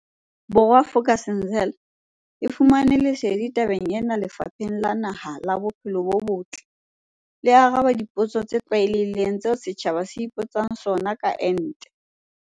Bo rwa, Vuk'uzenzele e fumane lesedi tabeng ena Lefapheng la Naha la Bo phelo bo Botle le arabang dipotso tse tlwaelehileng tseo setjhaba se ipotsang sona ka ente.